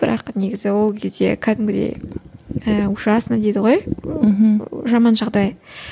бірақ негізі ол кезде кәдімгідей ііі ужасно дейді ғой мхм жаман жағдай